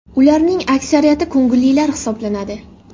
Ularning aksariyati ko‘ngillilar hisoblanadi.